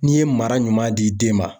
N'i ye mara ɲuman di den ma.